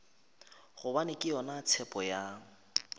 gobane ke yona tshepo ya